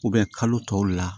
kalo tɔw la